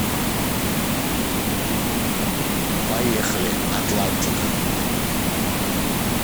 поехали атлантика